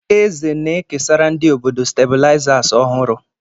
Eze na-ekesara ndị obodo stabilizers ọhụrụ.